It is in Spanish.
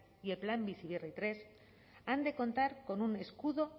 y el plan bizi berri tercero han de contar con un escudo